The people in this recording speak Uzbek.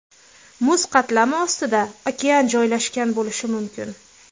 Muz qatlami ostida okean joylashgan bo‘lishi mumkin.